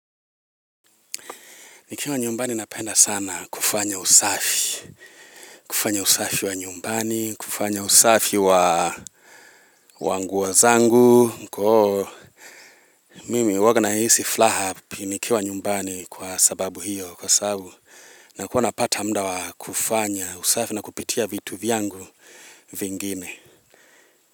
Nikiwa nyumbani napenda sana kufanya usafi, kufanya usafi wa nyumbani, kufanya usafi wa wa nguo zangu, mkoo, mimi huwanga nahisi furaha ni nikiwa nyumbani kwa sababu hiyo, kwa sababu, nakuwa napata muda wa kufanya usafi na kupitia vitu vyangu vingine.